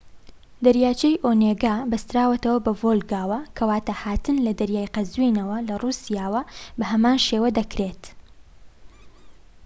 دەریاچەی ئۆنێگا بەستراوەتەوە بە ڤۆڵگاوە کەواتە هاتن لە دەریای قەزوینەوە لە رووسیاوە بەهەمان شێوە دەکرێت